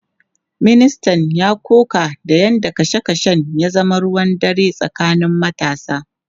Ministan ya koka da yadda kashe kashen ya zama ruwan dare tsakanin matasa.